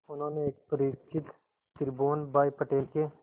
उन्होंने एक परिचित त्रिभुवन भाई पटेल के